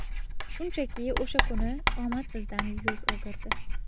Shunchaki o‘sha kuni omad bizdan yuz o‘girdi.